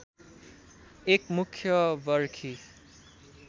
एक मुख्य बरखी